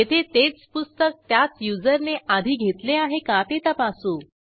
येथे तेच पुस्तक त्याच युजरने आधी घेतले आहे का ते तपासू